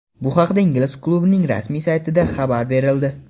Bu haqda ingliz klubining rasmiy saytida xabar berildi .